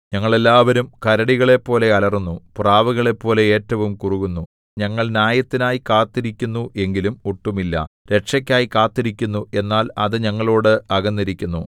ഞങ്ങൾ എല്ലാവരും കരടികളെപ്പോലെ അലറുന്നു പ്രാവുകളെപ്പോലെ ഏറ്റവും കുറുകുന്നു ഞങ്ങൾ ന്യായത്തിനായി കാത്തിരിക്കുന്നു എങ്കിലും ഒട്ടുമില്ല രക്ഷക്കായി കാത്തിരിക്കുന്നു എന്നാൽ അത് ഞങ്ങളോട് അകന്നിരിക്കുന്നു